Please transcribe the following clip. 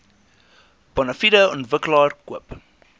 bonafide ontwikkelaar koop